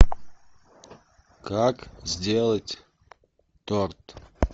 как сделать торт